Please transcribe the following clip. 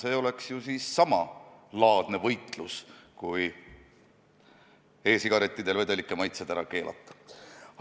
See oleks ju samalaadne võitlus, mida e-sigarettide puhul peetakse vedelike maitseainete vastu.